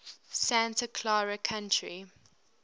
santa clara county